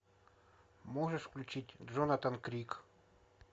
можешь включить джонатан крик